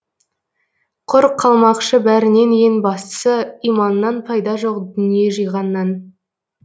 құр қалмақшы бәрінен ең бастысы иманнан пайда жоқ дүние жиғаннан